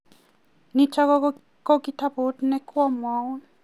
nitok ko kitabut ne kwa mwaun